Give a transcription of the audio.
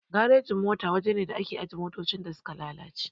Garejin mota waja ne da ake ajiye motoci da suka lalace